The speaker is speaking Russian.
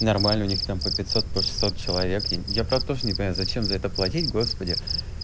нормально у них там по пятьсот по шестьсот человек и я правда тоже не понимаю зачем за это платить господи